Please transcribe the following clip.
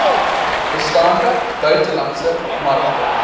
bestaande buitelandse markte